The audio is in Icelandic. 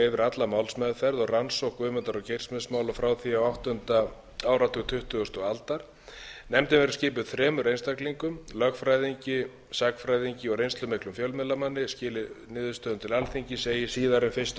alla málsmeðferð og rannsókn guðmundar og geirfinnsmála frá því á áttunda áratug tuttugustu aldar nefndin verði skipuð þremur einstaklingum lögfræðingi sagnfræðingi og reynslumiklum fjölmiðlamanni hún skili niðurstöðum til alþingis eigi síðar en fyrsta